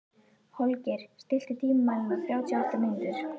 Holgeir, stilltu tímamælinn á þrjátíu og átta mínútur.